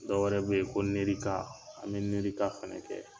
Dɔ wɛrɛ bɛ ye ko nerika an bɛ nerika fana kɛ.